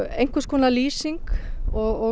einhverskonar lýsing og